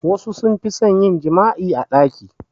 Wassu sun fi son yin jima'i a ɗaki